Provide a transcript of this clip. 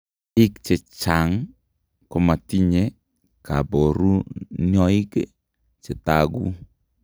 Biik chechang' komatinye kaboruniok chetagu